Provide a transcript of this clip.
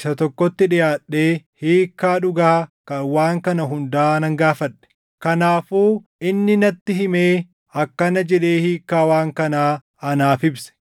isa tokkotti dhiʼaadhee hiikkaa dhugaa kan waan kana hundaa nan gaafadhe. “Kanaafuu inni natti himee akkana jedhee hiikkaa waan kanaa anaaf ibse: